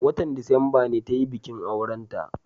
watan disamba ne tayi bikin aurenta